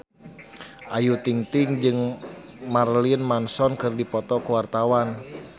Ayu Ting-ting jeung Marilyn Manson keur dipoto ku wartawan